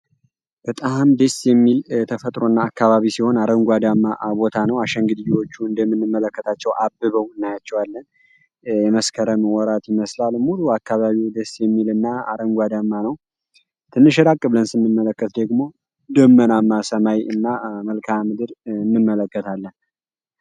በጣም ደስ የሚል ተፈጥሮና አካባቢ ሲሆን ፤ አረንጓዴአማ ቦታ ነው። አሸንግግዬዎቹ እንደምንመለከታቸው አበበው እናያቸዋለን። የመስከረም ወራት ይመስላል ሙሉ አካባቢው ደስ የሚልና አረንጓዴማ ነው። ትንሽ ያቅ ብለን ስንመለከት ደግሞ ደመናም ሰማይ እና መልካም ምድር እንመለከታለን።